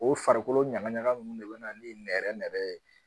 O farikolo ɲagaɲaga ninnu de bɛna ni nɛrɛ nɛrɛ ye